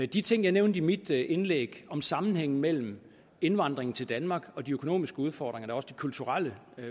de ting jeg nævnte i mit indlæg om sammenhængen mellem indvandring til danmark og de økonomiske udfordringer og også de kulturelle